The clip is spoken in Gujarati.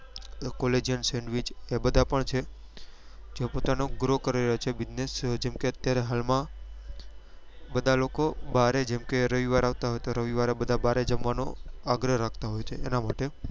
કે collagen sendwich છે કે બધા પણ છે કે પોતાનો grow કરી રહ્યા છે business જેમ કે અત્યારે હાલ માં બધા લોકો બારે જેમ કે રવીઈવાર આવતો હોય તો રવિવારે બધા બાર જમવા નો આગ્રહ રાખતા હોય છે એના લીધે